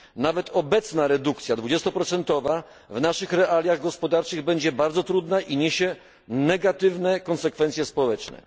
Nawet obecna redukcja o 20 w naszych realiach gospodarczych będzie bardzo trudna i niesie negatywne konsekwencje społeczne.